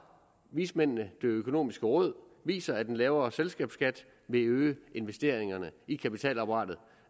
vismændene det økonomiske råd viser at en lavere selskabsskat vil øge investeringerne i kapitalapparatet